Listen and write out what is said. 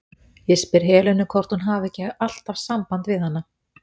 Ég spyr um Helenu, hvort hún hafi ekki alltaf samband við hana?